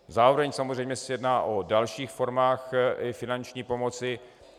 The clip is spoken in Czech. Zároveň samozřejmě se jedná o dalších formách finanční pomoci.